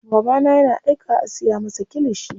Babana yana aikawa a siya masa kilishi.